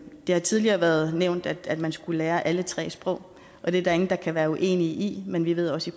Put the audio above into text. har tidligere været nævnt at man skulle lære alle tre sprog og det er der ingen der kan være uenige i men vi ved også